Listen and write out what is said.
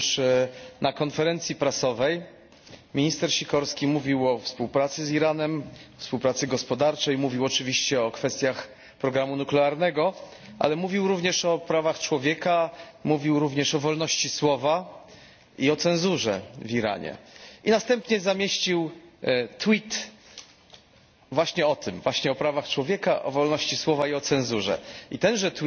Otóż na konferencji prasowej minister Sikorski mówił o współpracy z Iranem, współpracy gospodarczej, mówił oczywiście o kwestiach programu nuklearnego, ale mówił również o prawach człowieka, mówił również o wolności słowa i o cenzurze w Iranie. I następnie zamieścił właśnie o tym, właśnie o prawach człowieka, o wolności słowa i o cenzurze. I tenże